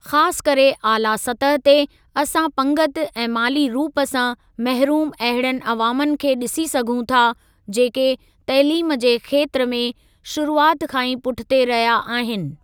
ख़ासि करे आला सतह ते, असां पंगिती ऐं माली रूप सां महरूम अहिड़नि अवामनि खे ॾिसी सघूं था, जेके तइलीम जे खेत्र में शुरूआति खां ई पुठिते रहिया आहिनि।